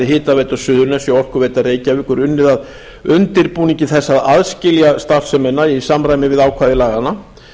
hitaveita suðurnesja og orkuveita reykjavíkur unnið að undirbúningi þess að aðskilja starfsemina í samræmi við ákvæði laganna